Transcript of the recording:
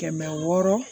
Kɛmɛ wɔɔrɔ